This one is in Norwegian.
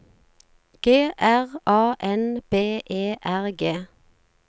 G R A N B E R G